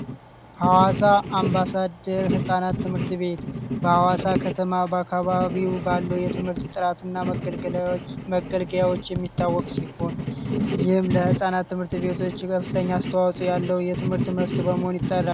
አምባሳደር ህፃናት ትምህርት ቤት በአዋሳ ከተማ በአካባቢው ባለው የትምህርት ጥራትና መገልገያዎች መገልገያዎች የሚታወቅ ሲሆን ለህፃናት ትምህርት ቤቶች ከፍተኛ ያለው የትምህርት መስክ በመሆን